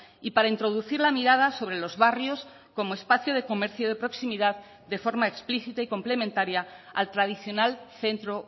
y para introducir la mirada sobre los barrios como espacio de comercio de proximidad de forma explícita y complementaria al tradicional centro